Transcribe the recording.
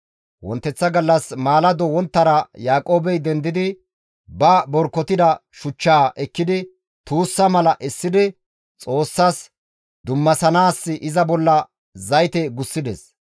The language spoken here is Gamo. Yaaqoobey wonteththa gallas maalado wonttara dendidi ba borkotida shuchchaa ekkidi tuussa mala essidi Xoossas dummasanaas iza bolla zayte gussides.